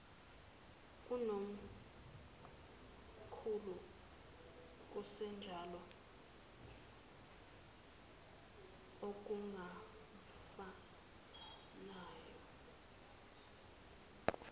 kunomkhulu kusenjalo okungumfanyana